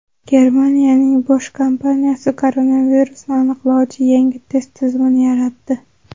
Germaniyaning Bosch kompaniyasi koronavirusni aniqlovchi yangi test tizimini yaratdi.